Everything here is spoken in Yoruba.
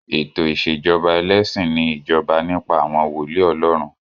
Ètò ìṣèjọba ẹlẹ́sìn ni ìjọba nípa àwọn wòólì Ọlọ́run.